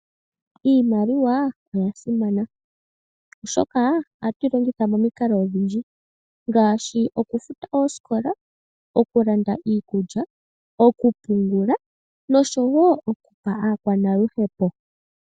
Iimaliwa oyasimana oshoka ohatu yi longitha momikalo odhindji ngaashi, okufuta oosikola, okulanda iikulya, okupungula nosho wo okupa aakwanaluhepo.